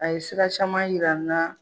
A ye sira caman yir'an na